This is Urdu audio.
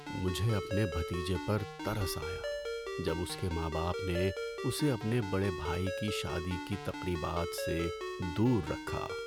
مجھے اپنے بھتیجے پر ترس آیا جب اس کے ماں باپ نے اسے اپنے بڑے بھائی کی شادی کی تقریبات سے دور رکھا۔